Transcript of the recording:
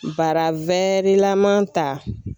Bara lama ta.